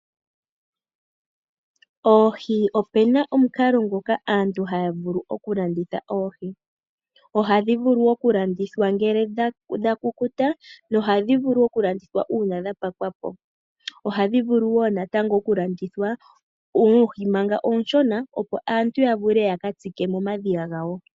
Oohi Ope na omukalo ngoka aantu haya vulu okulanditha oohi, ohadhi vulu okulandithwa ngele dha kukuta nohadhi vulu okulandithwa uuna dha pakwapo. Ohadhi vulu wo natango okulandithwa oohi manga ooshona, opo aantu ya vule ya ka tsike momadhiya gawo.